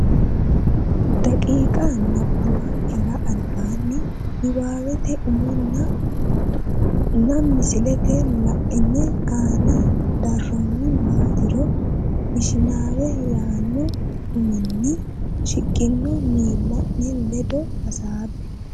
daqiiqa nabbawankera albaanni niwaawete umonna nna misile la ine aane daannori maatiro Ishinaawa yaanno uminni shiqqino miilla ne ledo hasaabbe.